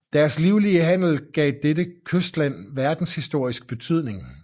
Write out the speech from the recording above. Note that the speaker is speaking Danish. Deres livlige handel gav dette kystland verdenshistorisk betydning